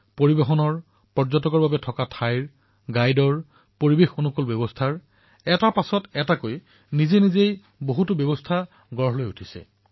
পৰিবহণ থকাখোৱাৰ ব্যৱস্থা গাইড পৰিবেশ অনুকূল ব্যৱস্থা এটাৰ পিছত এটাকৈ বিকশিত হব ধৰিছে